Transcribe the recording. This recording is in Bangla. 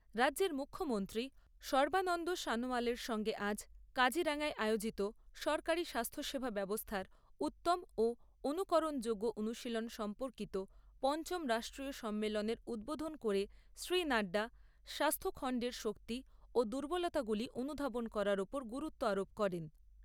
রাজ্যের মুখ্যমন্ত্রী সর্বানন্দ সনোয়ালের সঙ্গে আজ কাজিরাঙ্গায় আয়োজিত সরকারী স্বাস্থ্যসেবা ব্যবস্থার উত্তম ও অনুকরণযোগ্য অনুশীলন সম্পর্কিত পঞ্চম রাষ্ট্রীয় সম্মেলনের উদ্বোধন করে শ্রী নাড্ডা স্বাস্থ্যখণ্ডের শক্তি ও দুর্বলতাগুলি অনুধাবন করার ওপর গুরুত্ব আরোপ করেন।